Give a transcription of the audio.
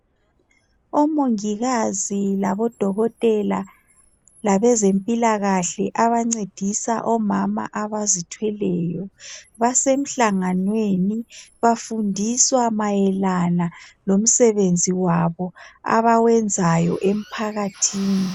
Omongikazi labodokotela labezempilakahle abancedisa omama abazithweleyo, basemhlangwaneni bafundiswa mayelana lomsebenzi wabo abawenzayo emphakathini.